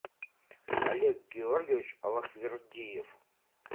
олег георгиевич аллахвердиев